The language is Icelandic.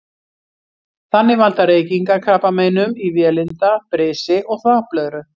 Þannig valda reykingar krabbameinum í vélinda, brisi og þvagblöðru.